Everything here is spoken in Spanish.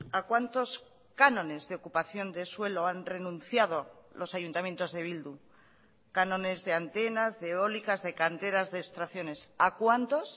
a cuántos cánones de ocupación de suelo han renunciado los ayuntamientos de bildu cánones de antenas de eólicas de canteras de extracciones a cuántos